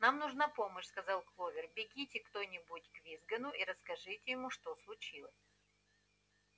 нам нужна помощь сказала кловер бегите кто-нибудь к визгуну и расскажите ему что случилось